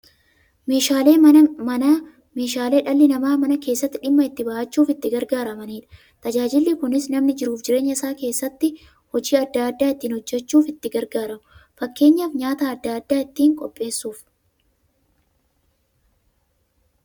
Meeshaaleen Manaa meeshaalee dhalli namaa Mana keessatti dhimma itti ba'achuuf itti gargaaramaniidha. Tajaajilli kunis, namni jiruuf jireenya isaa keessatti hojii adda adda ittiin hojjachuuf itti gargaaramu. Fakkeenyaf, nyaata adda addaa ittiin qopheessuuf.